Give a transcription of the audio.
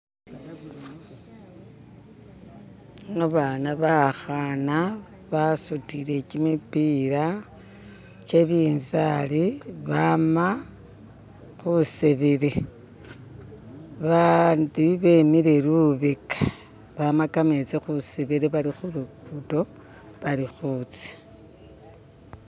Abaana bakhana basutile kimipiila kyebinzari bama khusebele bandi bemile lubeka bama kametsi khusebele bali khu lugudo bali khutsa.